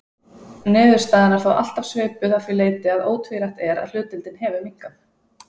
Niðurstaðan er þó alltaf svipuð að því leyti að ótvírætt er að hlutdeildin hefur minnkað.